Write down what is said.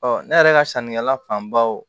ne yɛrɛ ka sannikɛla fanbaw